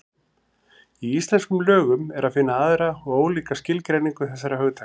Í íslenskum lögum er að finna aðra og ólíka skilgreiningu þessara hugtaka.